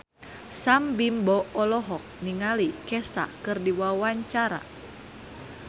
Sam Bimbo olohok ningali Kesha keur diwawancara